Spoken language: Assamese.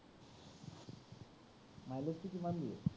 milege টো কিমান দিয়ে?